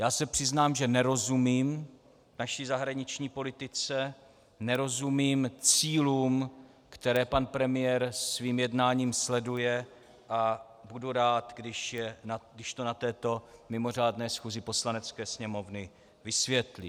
Já se přiznám, že nerozumím naší zahraniční politice, nerozumím cílům, které pan premiér svým jednáním sleduje, a budu rád, když to na této mimořádné schůzi Poslanecké sněmovny vysvětlí.